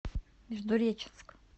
междуреченск